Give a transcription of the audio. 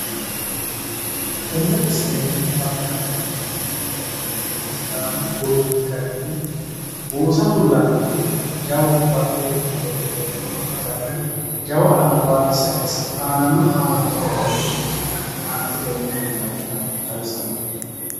Tenne misilenni huwata dandiineemmori heeriha ikkiro sidaamu budi garinni buusa fullanni woyte jawu bedheenni hee'riha ikkiha ikkirono agarre jawa albaanni saayinse aanano aananno garinni antetenni afullannita xawisanno